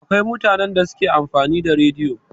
Akwai mutanen da suke amfani da a rediyo.